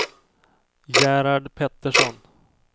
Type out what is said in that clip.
Gerhard Pettersson